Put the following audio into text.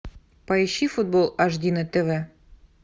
поищи футбол аш ди на тв